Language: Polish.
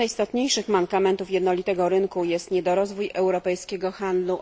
Jednym z najistotniejszych mankamentów jednolitego rynku jest niedorozwój europejskiego handlu